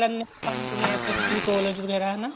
ਲੇਨੇ ਮੈਂ BSSC college ਵਗੈਰਾ ਹਨਾ